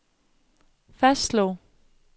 fastslog